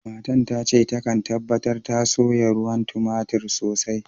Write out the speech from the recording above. Matan tace ta kan tabatar ta soya ruwan tomatir sosai.